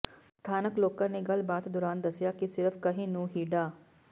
ਸਥਾਨਕ ਲੋਕਾਂ ਨੇ ਗੱਲਬਾਤ ਦੌਰਾਨ ਦੱਸਿਆ ਕਿ ਸਿਰਫ਼ ਕਹਿਣ ਨੂੰ ਹੀ ਡਾ